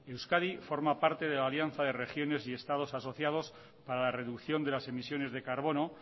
euskadi forma parte de la alianza de regiones y estados asociados para la reducción de las emisiones de carbono